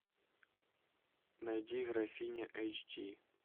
найди графиня эйч ди